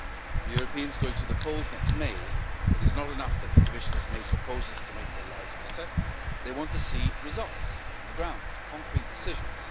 For Europeans going to the polls next May it is not enough that the Commission has made proposals to make their lives better, they want to see results on the ground, concrete decisions.